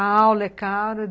A aula é cara.